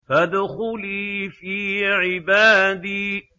فَادْخُلِي فِي عِبَادِي